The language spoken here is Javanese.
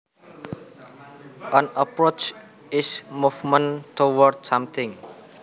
An approach is movement towards something